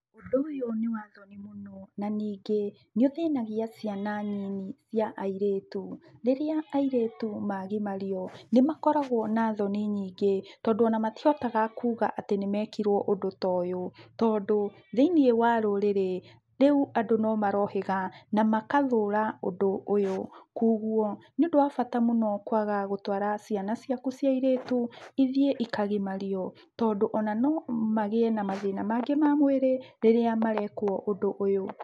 Ũndũ ũyũ nĩwa thoni mũno, na ningĩ, nĩũthĩnagia ciana nini cia airĩtu. Rĩrĩa airĩtu magimario, nĩmakoragwo na thoni nyingĩ, tondũ ona matihotaga kuga atĩ nĩmekirwo ũndũ ta ũyũ, tondũ, thĩiniĩ wa rũrĩrĩ, rĩu andũ nomarohĩga na magathũra ũndũ ũyũ, kugwo nĩũndũ wa bata mũno kwaga gũtwara ciana ciaku cia airĩtu ithiĩ ikagimario, tondũ ona nomagĩe na mathĩna mangĩ ma mwĩrĩ, rĩrĩa marekwo ũndũ ũyũ.